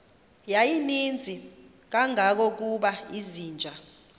yayininzi kangangokuba izinja